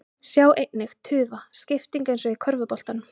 Sjá einnig: Tufa: Skipting eins og í körfuboltanum